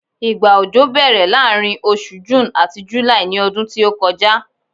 igba ọjọ bèèrè laarin osù June ati July ní ọdún tí o kọjá